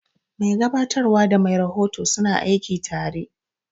Mai gabatarwa da mai rahoto suna aiki tare.